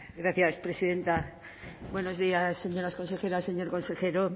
gracias presidenta buenos días señoras consejeras señor consejero